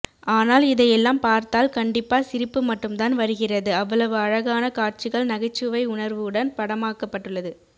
ஆனால் இதை எல்லாம் பார்த்தால் கண்டிப்பா சிரிப்பு மட்டும் தான் வருகிறது அவ்வளவு அழகான காட்சிகள் நகைச்சுவை உணர்வுடன் படமாக்கபட்டுள்ளது